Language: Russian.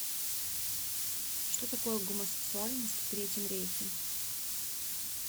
что такое гомосексуальность в третьем рейхе